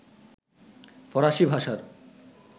ফরাসি ভাষার